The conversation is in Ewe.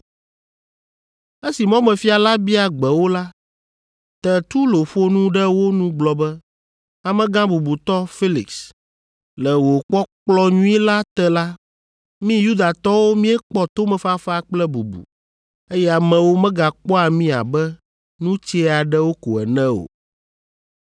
Esi mɔmefia la bia gbe wo la, Tertulo ƒo nu ɖe wo nu gblɔ be, “Amegã bubutɔ Felix, le wò kpɔkplɔ nyui la te la, mí Yudatɔwo míekpɔ tomefafa kple bubu, eye amewo megakpɔa mí abe nu tsɛ aɖewo ko ene o.